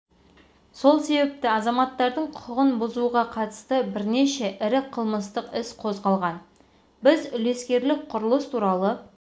сол себепті азаматтардың құқығын бұзуға қатысты бірнеше ірі қылмыстық іс қозғалған біз үлескерлік құрылыс туралы